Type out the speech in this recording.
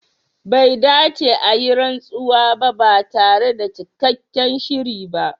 Bai dace a yi rantsuwa ba tare da cikakken shiri ba.